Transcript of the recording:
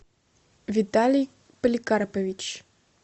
виталий поликарпович